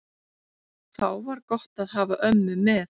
Þá var gott að hafa ömmu með.